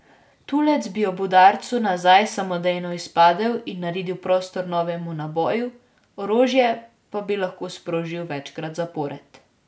Tulec bi ob udarcu nazaj samodejno izpadel in naredil prostor novemu naboju, orožje pa bi lahko sprožili večkrat zapored.